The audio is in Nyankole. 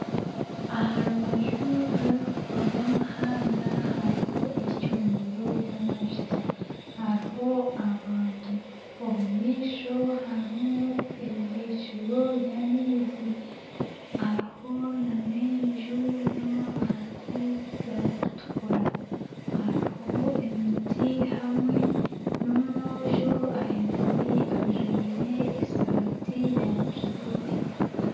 Aha rubaju rw'omuhanda hariho eicundiro ry'amajuta hariho abantu omu maisho hariho eibikiro ry'amaizi hariho nana enju y'amabati garikutukura hariho emiti hamwe n'omwojo ayinami ajwire esaati ya kijubwe